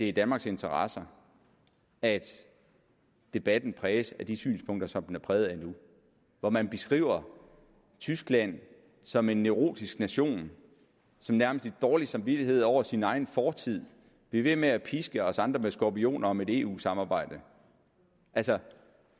i danmarks interesse at debatten præges af de synspunkter som den er præget af nu hvor man beskriver tyskland som en neurotisk nation som nærmest i dårlig samvittighed over sin egen fortid bliver ved med at piske os andre med skorpioner og med et eu samarbejde altså